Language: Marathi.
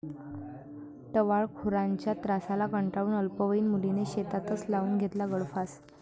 टवाळखोरांच्या त्रासाला कंटाळून अल्पवयीन मुलीने शेतातच लावून घेतला गळफास